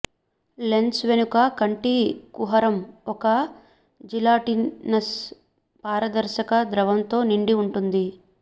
lens వెనుక కంటి కుహరం ఒక జిలాటినస్ పారదర్శక ద్రవంతో నిండి ఉంటుంది